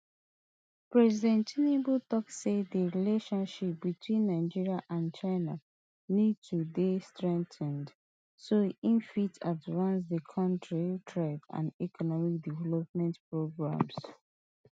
president tinubu tok say di relationship between nigeria and china need to dey strengthened so e fit advance di kontris trade and economic development programmes